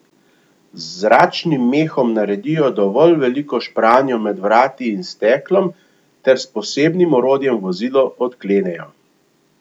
Z zračnim mehom naredijo dovolj veliko špranjo med vrati in steklom ter s posebnim orodjem vozilo odklenejo.